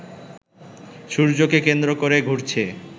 সূর্যকে কেন্দ্র করে ঘুরছে